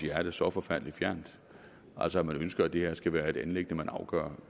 hjerte så forfærdelig fjernt altså man ønsker at det her skal være et anliggende der afgøres